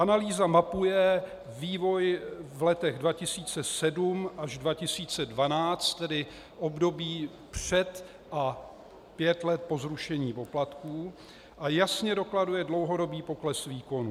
Analýza mapuje vývoj v letech 2007 až 2012, tedy období před a pět let po zrušení poplatků, a jasně dokladuje dlouhodobý pokles výkonů.